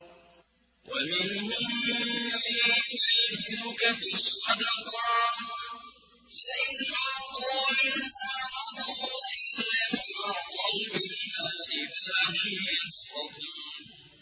وَمِنْهُم مَّن يَلْمِزُكَ فِي الصَّدَقَاتِ فَإِنْ أُعْطُوا مِنْهَا رَضُوا وَإِن لَّمْ يُعْطَوْا مِنْهَا إِذَا هُمْ يَسْخَطُونَ